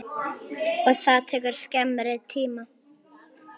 Og það tekur skemmri tíma.